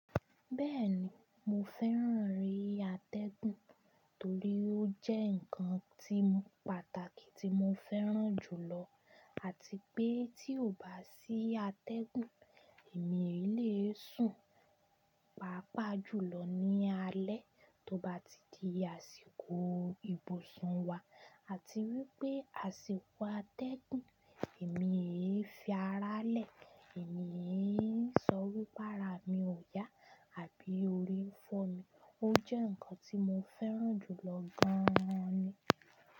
Bẹ́ẹ̀ni, mo fẹ́ràn eré atẹ́gùn torí ó jẹ́ ǹkan tí pàtàkì tí mo fẹ́ràn jùlọ. Àti pé tí ò bá sí atẹ́gùn, èmi èyí lé sùn pàápàá jùlọ ní alẹ́ tó bá ti di àsìkò ìbùsùn wa. Àti wípé àsìkò atẹ́gùn, èmi èyí fi ara lẹ́, èmi èyí ń sọ wípé ara mi ò yá àbí orí ń fọ́ mi. Ó jẹ́ ǹkan tí mo fẹ́ràn jùlọ gan ni.